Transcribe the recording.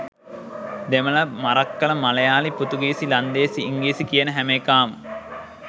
දෙමල මරක්කල මලයාලි පෘතුගිසි ලන්දේසි ඉංග්‍රීසි කියන හැම එකාම